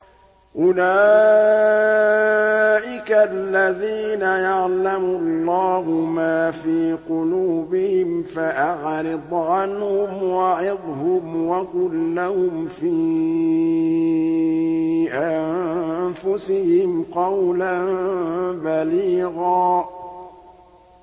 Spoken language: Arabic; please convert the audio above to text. أُولَٰئِكَ الَّذِينَ يَعْلَمُ اللَّهُ مَا فِي قُلُوبِهِمْ فَأَعْرِضْ عَنْهُمْ وَعِظْهُمْ وَقُل لَّهُمْ فِي أَنفُسِهِمْ قَوْلًا بَلِيغًا